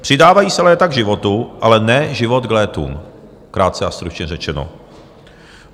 Přidávají se léta k životu, ale ne život k létům, krátce a stručně řečeno.